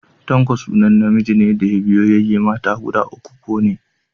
Tanko sunan namijin da ya biyo yayye mata guda uku ko ne.